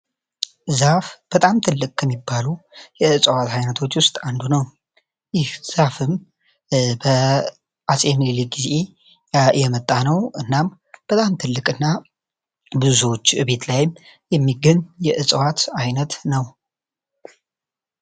ዛፍ በጣም ትልቅ ከሚባሉ የዕዋት አይነቶች ውስጥ አንዱ ነው ይህ ዛፍም በአጼ ምኒልክ ጊዜ የመጣነው እና በጣም ትልቅ እና በብዙዎች ቤት ላይም የሚገኝ የዕዋት አይነት ነው።